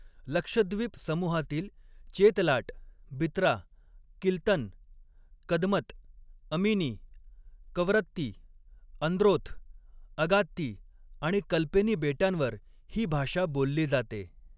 लक्षद्विप समूहातील चेतलाट, बितरा, किल्तन, कदमत, अमिनी, कवरत्ती, अंद्रोथ, अगात्ती आणि कल्पेनी बेटांवर ही भाषा बोलली जाते.